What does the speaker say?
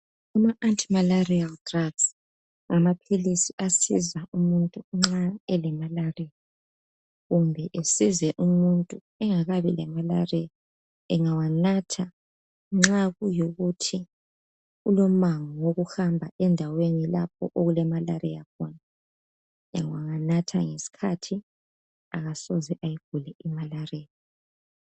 Ama anti malaria drugs ngamaphilisi asiza umuntu nxa elemalaria. Kumbe esize umuntu engakabi lemalaria. Engawanatha nxa kulokuthi ulomango wokuhamba lendaweni lapho okulemalaria khona. Angawanatha ngesikhathi, akasoze ayigule imalaria.